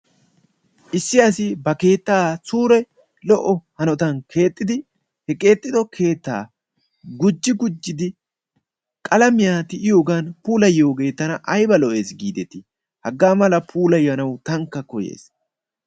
issi asi ba keettaa suure lo''o hanotan keexxidi he keexxido keetta gujji gujjidi qalamiyaa ti"iyoogan puulayiyyoogee tana aybba lo''ees gidetti! hagaa mala puulayyanaw tankka koyyays.